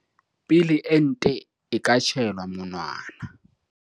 pele ente e ka tjhaelwa monwana.